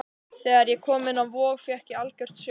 Þegar ég kom inn á Vog fékk ég algjört sjokk.